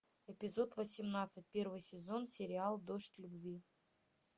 эпизод восемнадцать первый сезон сериал дождь любви